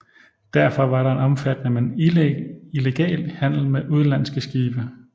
Derfor var der en omfattende men illegal handel med udenlandske skibe